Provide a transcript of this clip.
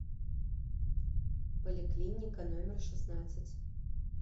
поликлиника номер шестнадцать